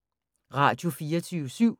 Radio24syv